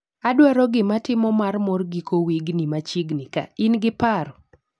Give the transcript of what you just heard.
Adwaro gimatimo mar mor giko wigni machiegni kaa, ingi paro?